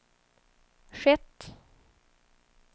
skett